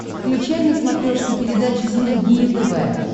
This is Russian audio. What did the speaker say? включай на смотрешке передачу синергия тв